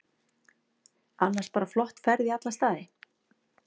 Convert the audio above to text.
Annars bara flott ferð í alla staði.